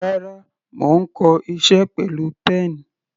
Rárá, mo ń kọ iṣẹ́ pẹ̀lú pen.